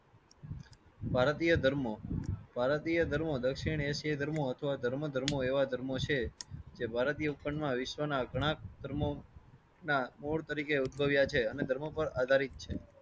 ભારતીય ધર્મો ભારતીય ધર્મો દક્ષિણ એશિયાઈ ધર્મો અથવા ધર્મો ધર્મો એવા ધર્મો છે જે ભારતીય વિશ્વના ગણા ધર્મો ના મૂળ તરીકે ઉદ્ભવ્યા છે અને ધર્મો પર આધારિત છે.